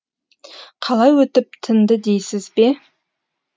қалай өтіп тынды дейсіз бе